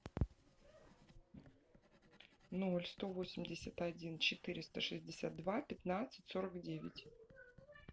ноль сто восемьдесят один четыреста шестьдесят два пятнадцать сорок девять